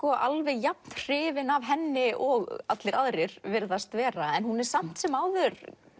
alveg jafn hrifinn af henni og allir aðrir virðast vera hún er samt sem áður